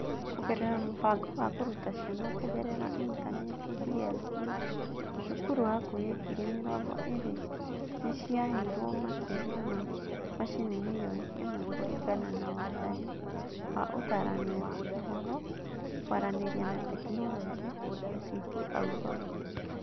Kũgerera Mũbango wa Kũruta Ciana Kũgerera Intaneti (DLP), cukuru hakuhĩ ngiri mĩrongo ĩĩrĩ nĩ ciaheirwo makĩria ma macini milioni ĩmwe kũringana na Wathani wa Ũtaarani wa Ũhoro, Kwaranĩria na Teknoroji (ICT Athority).